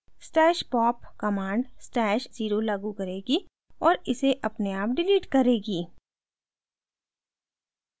stash pop command stash @{0} लागू करेगी और ise अपने आप डिलीट करेगी